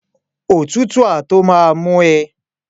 Òtútù á tó má mú ẹ